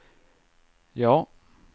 ja